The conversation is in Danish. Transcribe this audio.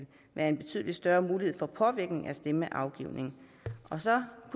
være en betydelig større mulighed for påvirkning af stemmeafgivningen så